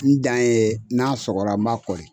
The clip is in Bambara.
N dan ye n'a sɔgɔra n b'a